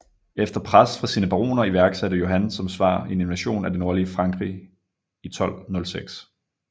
Efter pres fra sine baroner iværksatte Johan som svar en invasion af det nordlige Frankrig i 1206